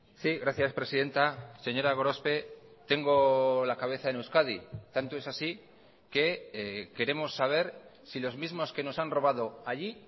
sí gracias presidenta señora gorospe tengo la cabeza en euskadi tanto es así que queremos saber si los mismos que nos han robado allí